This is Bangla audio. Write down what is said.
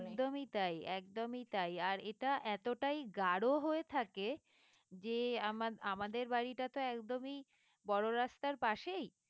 একদমই তাই একদমই তাই আর এটা এতটাই গাঢ় হয়ে থাকে যে আমার আমাদের বাড়িটা তো একদমই বড় রাস্তার পাশেই